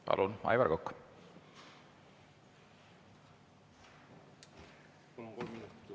Palun, Aivar Kokk!